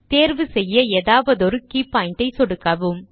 தேர்வு செய்ய ஏதாவதொரு கே பாயிண்ட் ஐ சொடுக்கவும்